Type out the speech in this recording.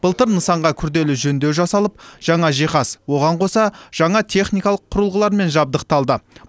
былтыр нысанға күрделі жөндеу жасалып жаңа жиһаз оған қоса жаңа техникалық құрылғылармен жабдықталды